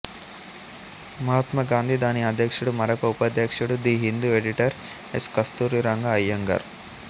మహాత్మా గాంధీ దాని అధ్యక్షుడు మరొక ఉపాధ్యక్షుడు the Hindu editor S Kasturi Ranga Iyengar